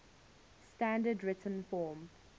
standard written form